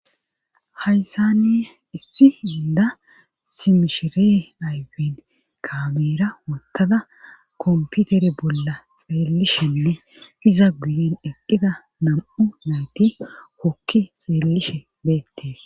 haysani issi inda simishire ayfin kameera wottada komputere bolla xeellishenne iza guyen eqqhida nam7u nayti wokki xeellishe beettees